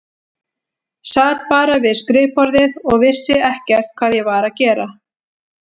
Sat bara við skrifborðið og vissi ekkert hvað ég var að gera.